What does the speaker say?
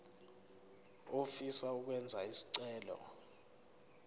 ofisa ukwenza isicelo